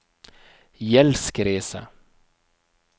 gjeldskrise